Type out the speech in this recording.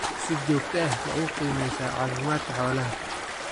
Si joogto ah ma u qiimeysaa caafimaadka xoolaha?